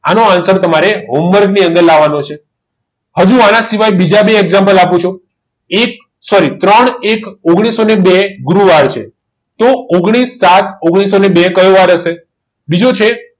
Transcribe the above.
આનું અંતર તમે home work ની અંદર લાવવાનો છે હજુ આના સિવાય બીજા બે example આપું છું એક સોરી ત્રણ ઓગણીસો બે ગુરુવાર છે તો ઓગણીસ સાત ઓગણીસો બે કયો વાર હશે બીજો છે